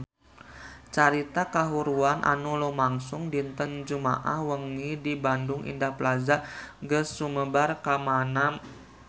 Carita kahuruan anu lumangsung dinten Jumaah wengi di Bandung Indah Plaza geus sumebar kamana-mana